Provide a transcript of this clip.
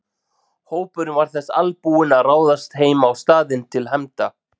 Hópurinn var þess albúinn að ráðast heim á staðinn til hefnda.